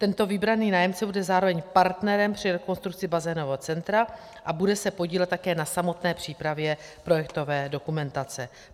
Tento vybraný nájemce bude zároveň partnerem při rekonstrukci bazénového centra a bude se podílet také na samotné přípravě projektové dokumentace.